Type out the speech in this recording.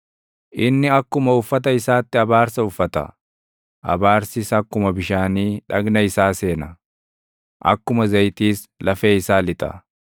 Inni akkuma uffata isaatti abaarsa uffata; abaarsis akkuma bishaanii dhagna isaa seena; akkuma zayitiis lafee isaa lixa.